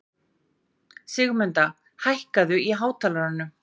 Sigmunda, hækkaðu í hátalaranum.